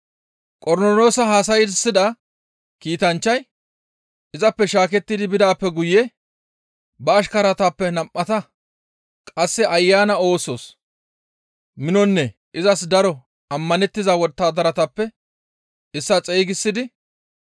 Qornoloosa haasayssida kiitanchchay izappe shaakettidi bidaappe guye ba ashkaratappe nam7ata qasse Ayana yo7os minonne izas daro ammanettiza wottadaratappe issaa xeygisidi,